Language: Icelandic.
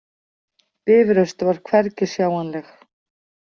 Bifröst var hvergi sjáanleg.